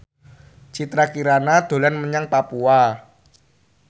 Citra Kirana dolan menyang Papua